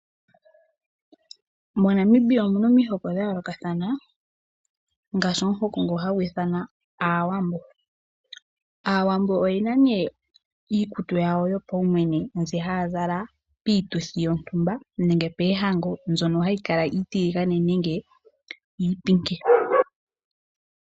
MoNamibia omuna omihoko dha yoolokathana, ngaashi omuhoko ngoka hagu ithanwa aawambo. Aawambo oyena nee iikutu yawo yopaumwene mbyo haya zala piituthi yontumba nenge poohango, mbyono hayi kala iitiligane nenge iipinki.